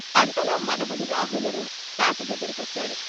అంతలో మనవడు రాహులుడు తాత దగ్గరికొచ్చాడు.